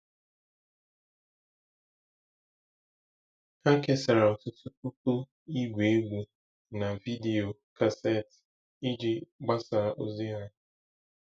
Ha kesara ọtụtụ puku Igwe egwu na vidiyo kassetu iji gbasaa ozi ha.